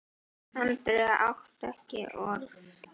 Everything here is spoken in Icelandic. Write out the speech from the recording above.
Andri átti ekki orð.